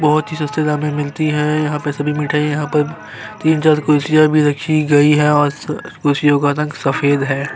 बहोत ही सस्ते दाम में मिलती है यहाँ पे सभी मिठाई यहाँ पर तीन चार कुर्सियाँ भी रखी गयी है और स कुर्सियों का रंग सफ़ेद है।